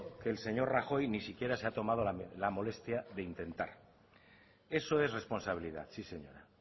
que el señor rajoy ni siquiera se ha tomado la molestia de intentar eso es responsabilidad sí señora